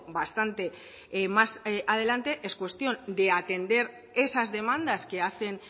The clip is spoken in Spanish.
bastante más adelante es cuestión de atender esas demandas que hacen